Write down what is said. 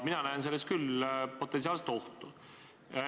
Mina näen selles küll potentsiaalset ohtu.